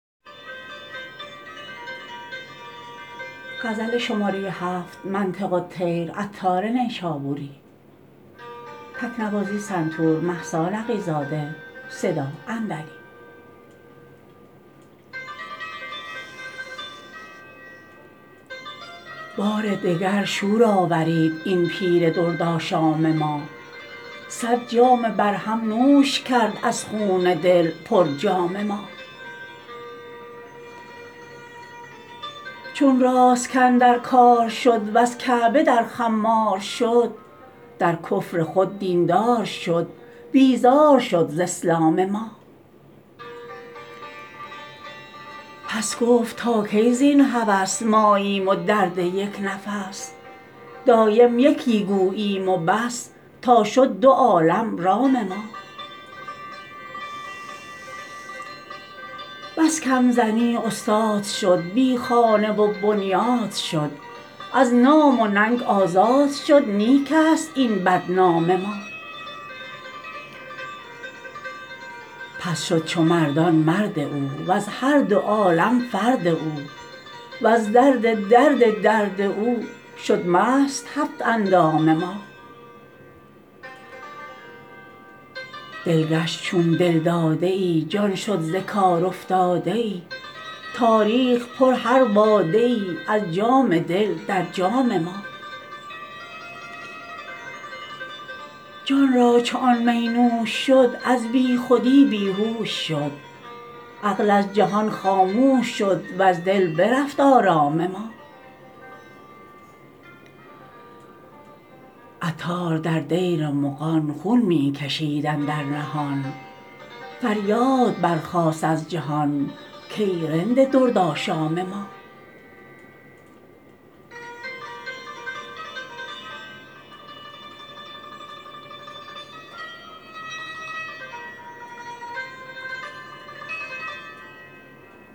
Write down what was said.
بار دگر شور آفرید این پیر درد آشام ما صد جام برهم نوش کرد از خون دل پر جام ما چون راست کاندر کار شد وز کعبه در خمار شد در کفر خود دین دار شد بیزار شد ز اسلام ما پس گفت تا کی زین هوس ماییم و درد یک نفس دایم یکی گوییم وبس تا شد دو عالم رام ما بس کم زنی استاد شد بی خانه و بنیاد شد از نام و ننگ آزاد شد نیک است این بدنام ما پس شد چو مردان مرد او وز هر دو عالم فرد او وز درد درد درد او شد مست هفت اندام ما دل گشت چون دلداده ای جان شد ز کار افتاده ای تا ریخت پر هر باده ای از جام دل در جام ما جان را چون آن می نوش شد از بی خودی بیهوش شد عقل از جهان خاموش شد و از دل برفت آرام ما عطار در دیر مغان خون می کشید اندر نهان فریاد برخاست از جهان کای رند درد آشام ما